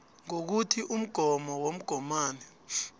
ngokuthi umgomo womgomani